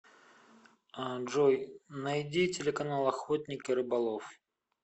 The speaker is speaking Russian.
джой найди телеканал охотник и рыболов